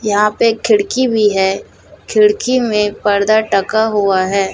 यहां पे एक खिड़की भी है खिड़की में पर्दा टका हुआ है।